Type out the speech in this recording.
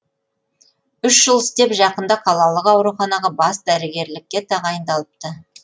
үш жыл істеп жақында қалалық ауруханаға бас дәрігерлікке тағайындалыпты